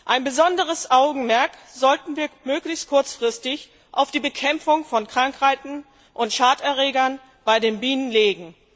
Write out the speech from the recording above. Ein besonderes Augenmerk sollten wir möglichst kurzfristig auf die Bekämpfung von Krankheiten und Schaderregern bei den Bienen legen.